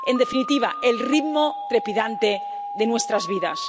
En definitiva, el ritmo trepidante de nuestras vidas.